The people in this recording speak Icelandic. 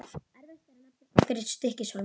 Erfiðast er að nefna einhverja í Stykkishólmi.